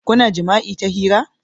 Kuna jima'i ta hira?